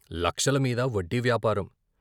లక్షలమీద వడ్డీ వ్యాపారం.